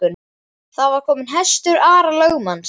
Þar var kominn hestur Ara lögmanns.